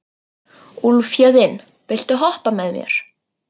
Úlfhéðinn, viltu hoppa með mér?